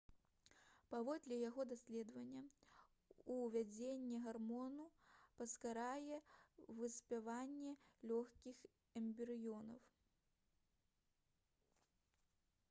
паводле яго даследавання увядзенне гармону паскарае выспяванне лёгкіх эмбрыёна